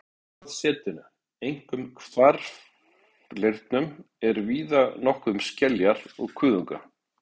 Í sjávarsetinu, einkum hvarfleirnum, er víða nokkuð um skeljar og kuðunga.